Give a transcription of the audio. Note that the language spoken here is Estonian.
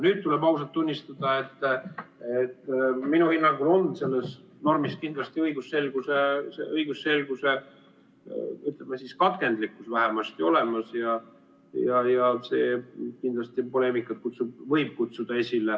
" Nüüd tuleb ausalt tunnistada, et minu hinnangul on selles normis kindlasti õigusselguse, ütleme siis, katkendlikkus vähemasti olemas ja see kindlasti poleemikat võib esile kutsuda.